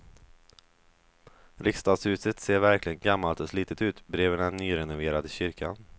Riksdagshuset ser verkligen gammalt och slitet ut bredvid den nyrenoverade kyrkan.